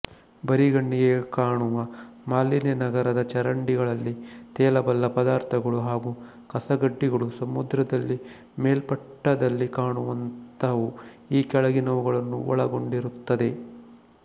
ಬರಿಗಣ್ಣಿಗೆ ಕಾಣುವ ಮಾಲಿನ್ಯ ನಗರದ ಚರಂಡಿಗಳಲ್ಲಿ ತೇಲಬಲ್ಲ ಪದಾರ್ಥಗಳು ಹಾಗೂ ಕಸಕಡ್ಡಿಗಳು ಸಮುದ್ರದಲ್ಲಿ ಮೇಲ್ಮಟ್ಟದಲ್ಲಿ ಕಾಣುವಂಥವು ಈ ಕೆಳಗಿನವುಗಳನ್ನು ಒಳಗೊಂಡಿರುತ್ತದೆ